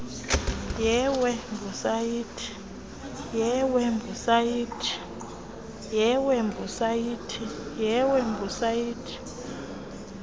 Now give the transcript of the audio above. yewebhusayithi www capetown